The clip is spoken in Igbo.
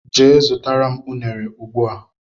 Jee zụtara m unere ugbua!!!!